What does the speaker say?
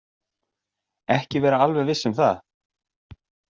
Ekki vera alveg viss um það.